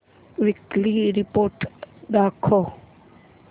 weekly report दाखव